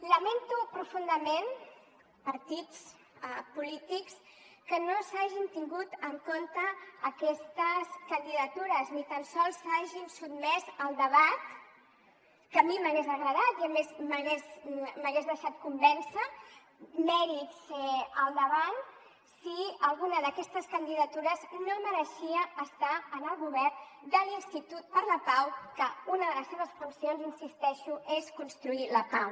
lamento profundament partits polítics que no s’hagin tingut en compte aquestes candidatures ni tant sols s’hagin sotmès al debat que a mi m’hagués agradat i a més m’hagués deixat convèncer mèrits al davant si alguna d’aquestes candidatures no mereixia estar en el govern de l’institut per la pau que una de les seves funcions hi insisteixo és construir la pau